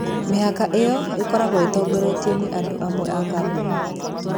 Mĩhaka ĩyo ĩkoragwo ĩrongoreirio andũ amwe na kambuni.